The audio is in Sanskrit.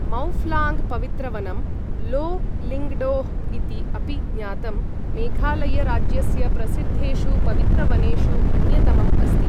मौफ्लाङ्ग् पवित्र वनं, लो लिङ्ग्डोह् इति अपि ज्ञातं, मेघालय राज्यस्य प्रसिद्धेषु पवित्रवनेषु अन्यतमम् अस्ति।